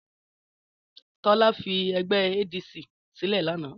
Tọ́lá fi ẹgbẹ́ ADC sílẹ̀ lánàá.